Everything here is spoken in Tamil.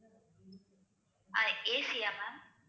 அஹ் AC யா ma'am